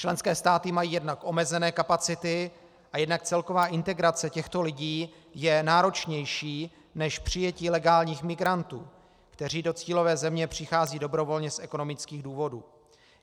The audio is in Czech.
Členské státy mají jednak omezené kapacity a jednak celková integrace těchto lidí je náročnější než přijetí legálních migrantů, kteří do cílové země přicházejí dobrovolně z ekonomických důvodů.